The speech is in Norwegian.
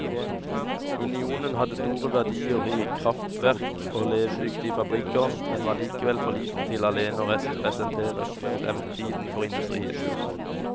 Union hadde store verdier i kraftverk og levedyktige fabrikker, men var likevel for liten til alene å representere fremtiden for industrien.